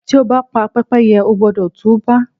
Tí o bá pa Pẹ́pẹ́yẹ, o gbúdọ̀ tú bá.